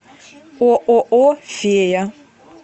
ооо фея